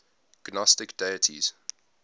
gnostic deities